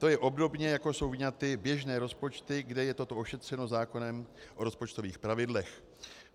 To je obdobně, jako jsou vyňaty běžné rozpočty, kde je toto ošetřeno zákonem o rozpočtových pravidlech.